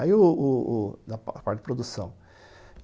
Aí o o a parte de produção.